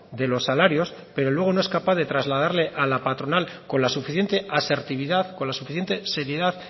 de los salarios pero luego no es capaz de trasladarle a la patronal con la suficiente asertividad con la suficiente seriedad